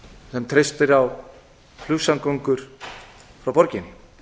sem treystir á flugsamgöngur frá borginni